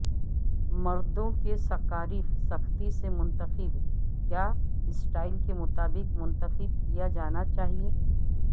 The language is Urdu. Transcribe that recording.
مردوں کے سکارف سختی سے منتخب کیا سٹائل کے مطابق منتخب کیا جانا چاہئے